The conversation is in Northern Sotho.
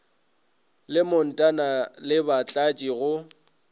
le mantona le batlatši go